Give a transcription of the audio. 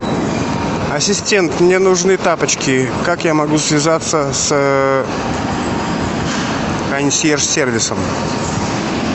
ассистент мне нужны тапочки как я могу связаться с консьерж сервисом